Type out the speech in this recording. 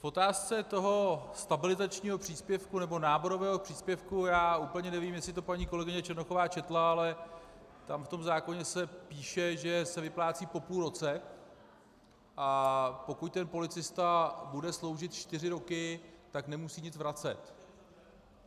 V otázce toho stabilizačního příspěvku, nebo náborového příspěvku - já úplně nevím, jestli to paní kolegyně Černochová četla, ale tam v tom zákoně se píše, že se vyplácí po půl roce, a pokud ten policista bude sloužit čtyři roky, tak nemusí nic vracet.